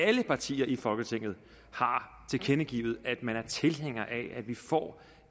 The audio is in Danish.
alle partier i folketinget har tilkendegivet at man er tilhænger af at vi får